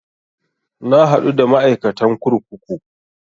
Na haɗu da ma'aikatan kurkuku